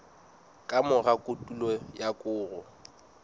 ka mora kotulo ya koro